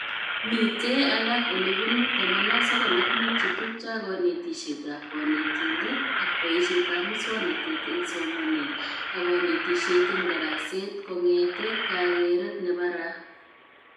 Mitee alak olebunu 95 chetubcho ak konetishetab konetindet ak boishetab muswonotet eng somanet ak konetishet eng daraset, kongetee kakeret nebaraa